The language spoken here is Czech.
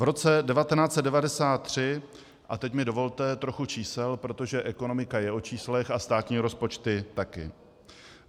V roce 1993 - a teď mi dovolte trochu čísel, protože ekonomika je o číslech a státní rozpočty taky.